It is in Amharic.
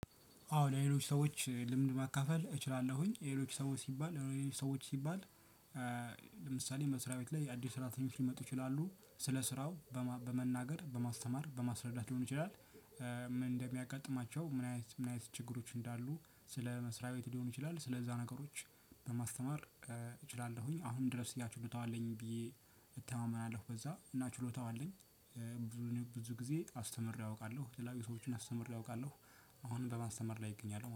አዎ ለሌሎች ሰዎች ልምድ ማካፈል እችላለሁኝ ሌሎች ሰዎች ሲባል ለሌሎች ሰዎች ሲባል። ለምሳሌ መስሪያ ቤት ላይ አዲስ ሰራተኞች ሊመጡ ይችላሉ ስለ ስራው በመናገር በማስተማር በማስረዳት ሊሆን ይችላል። እንደሚያጋጥማቸው ምን አይነት ምን አይነት ችግሮች እንዳሉ? ስለ መስሪያ ቤት ሊሆን ይችላል ስለዛ ነገሮች በማስተማር እችላለሁኝ። አሁን ድረስ ያ ችሎታው አለኝ ብዬ እተማመናለሁ በዛ እና ችሎታው አለኝ። ብዙን ብዙ ጊዜ አስተምሬ አውቃለሁ የተለያየ ሰዎችን አስተምሬ አውቃለሁ። አሁንም በማስተማር ላይ እገኛለሁ